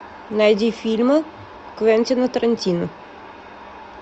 найди фильмы квентина тарантино